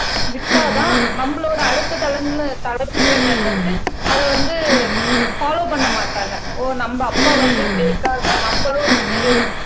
விட்டாதான் நம்மளோட அடுத்த தலைமுறையினர் தலைமுறையினர் வந்து அதை வந்து பலோவ் பண்ண மாட்டாங்க ஓ நம்ம அப்பா வந்து இப்படி இருக்காங்க நம்மளும் இந்த மாதிரி